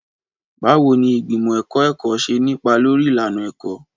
Báwo ni ìgbìmọ̀ ẹ̀kọ́ ẹ̀kọ́ ṣe ní ipa lórí ìlànà ẹ̀kọ́?